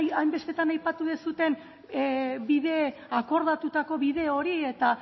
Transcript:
hainbestetan aipatu duzuen akordatutako bide hori eta